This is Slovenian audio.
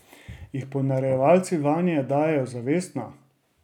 Jih ponarejevalci vanje dajejo zavestno?